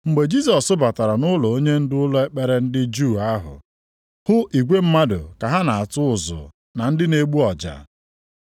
Mgbe Jisọs batara nʼụlọ onyendu ụlọ ekpere ndị Juu ahụ, hụ igwe mmadụ ka ha na-atụ ụzụ na ndị na-egbu ọja.